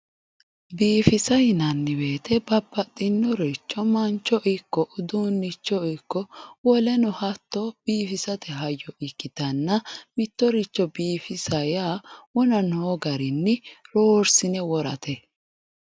Biifissa yinnanni woyte babbaxxinoricho mancho ikko uduunicho ikko woleno hatto biifisate hayyo ikkittanna mittoricho biifisa yaa wona noo garinni roorsine worrate.